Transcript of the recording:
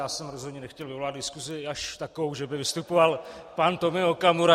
Já jsem rozhodně nechtěl vyvolat diskusi až takovou, že by vystupoval pan Tomio Okamura.